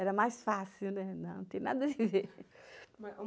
Era mais fácil, né, não tem nada de ver.